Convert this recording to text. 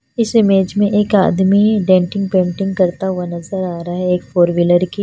इस इमेज में एक आदमी है डेंटिंग पेंटिंग करता हुआ नज़र आ रहा है एक फोर व्हीलर की--